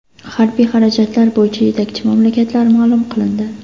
Harbiy xarajatlar bo‘yicha yetakchi mamlakatlar ma’lum qilindi.